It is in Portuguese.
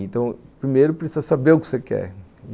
Então, primeiro, precisa saber o que você quer.